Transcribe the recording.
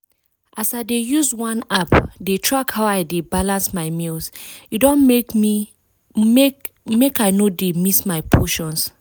as i dey use one app dey track how i dey balance my meals e don make make i no dey miss my portions.